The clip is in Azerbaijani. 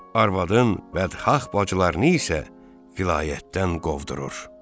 Arvadın bədxah bacılarını isə vilayətdən qovdurur.